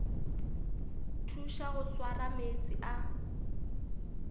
thuša go swara meetse a